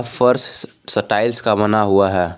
फर्श स टाइल्स का बना हुआ है।